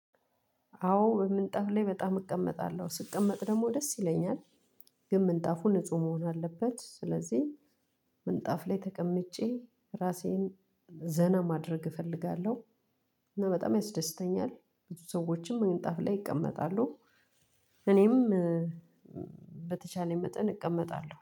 አዎ በምንጣፉ ላይ በጣም እቀመጣለሁ ስቀመጥ ደግሞ ደስ ይለኛል። ግን ምንጣፉ ንጹህ መሆን አለበት ስለዚህ ምንጣፍ ላይ ተቀምጬ ራሴን ዘና ማድረግ እፈልጋለሁ። እና በጣም ያስደስተኛል ብዙ ሰዎችም መንጣፍ ላይ ይቀመጣሉ። እኔም በተቻለ መጠን እቀመጣለሁ